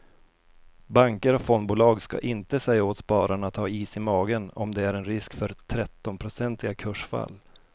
Banker och fondbolag ska inte säga åt spararna att ha is i magen om det är en risk för trettionprocentiga kursfall.